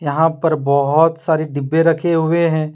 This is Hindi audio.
यहां पर बहुत सारे डिब्बे रखे हुए हैं।